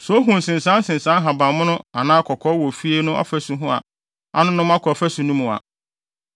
Sɛ ohu nsensansensan ahabammono anaa kɔkɔɔ wɔ ofie no afasu ho a anonom kɔ afasu no mu a,